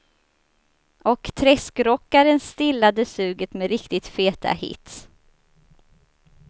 Och träskrockaren stillade suget med riktigt feta hits.